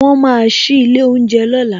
Won máa sí ilé oúnjẹ lọ́la